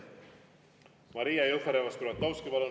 Maria Jufereva‑Skuratovski, palun!